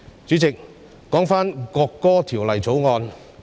主席，說回《條例草案》。